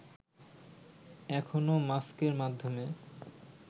এখনও মাস্কের মাধ্যমে